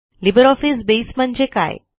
LibreOffice base म्हणजे काय